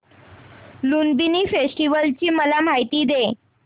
Lumbini festival ची मला माहिती दे